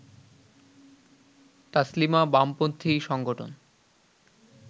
তাসলিমা বামপন্থী সংগঠন